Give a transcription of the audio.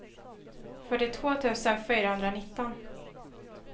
fyrtiotvå tusen fyrahundranitton